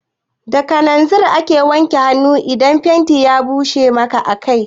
Da kananzir ake wanke hanu in fenti ya bushe a kai